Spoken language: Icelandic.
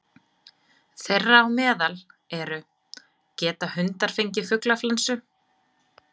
Þeirra á meðal eru: Geta hundar fengið fuglaflensu?